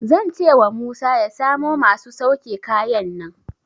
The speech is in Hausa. Zan cewa Musa ya samo masu sauke kayan nan.